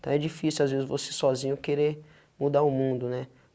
Então é difícil às vezes você sozinho querer mudar o mundo, né?